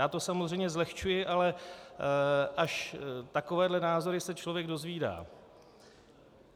Já to samozřejmě zlehčuji, ale až takovéhle názory se člověk dozvídá.